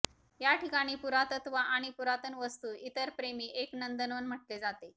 या ठिकाणी पुरातत्त्व आणि पुरातन वास्तू इतर प्रेमी एक नंदनवन म्हटले जाते